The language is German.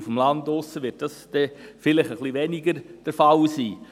Auf dem Land wird dies wohl etwas weniger der Fall sein.